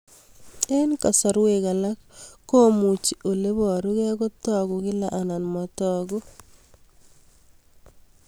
Eng' kasarwek alak komuchi ole parukei kotag'u kila anan matag'u